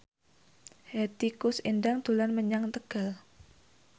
Hetty Koes Endang dolan menyang Tegal